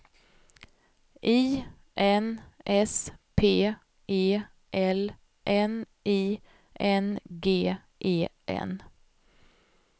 I N S P E L N I N G E N